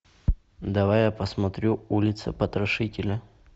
давай я посмотрю улица потрошителя